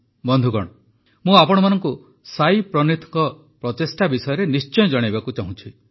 ବନ୍ଧୁଗଣ ମୁଁ ଆପଣମାନଙ୍କୁ ସାଇ ପ୍ରନୀଥଙ୍କ ପ୍ରଚେଷ୍ଟା ବିଷୟରେ ନିଶ୍ଚୟ ଜଣାଇବାକୁ ଚାହୁଁଛି